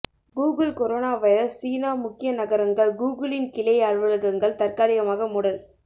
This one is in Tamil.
கூகுள் கொரோனா வைரஸ் சீனா முக்கிய நகரங்கள் கூகுளின் கிளை அலுவலகங்கள் தற்காலிகமாக மூடல்